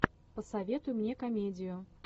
посоветуй мне комедию